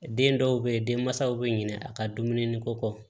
Den dɔw bɛ yen denmansaw bɛ ɲinɛ a ka dumuni ko kɔ